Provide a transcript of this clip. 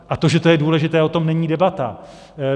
A to, že to je důležité, o tom není debata.